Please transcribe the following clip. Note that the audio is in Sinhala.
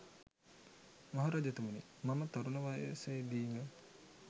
මහ රජතුමනි, මම තරුණ වයසේ දීම